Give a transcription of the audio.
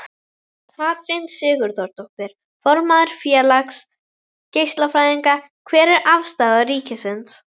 Katrín Sigurðardóttir, formaður Félags geislafræðinga: Hver er afstaða ríkisins?